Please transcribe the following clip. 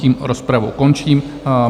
Tím rozpravu končím.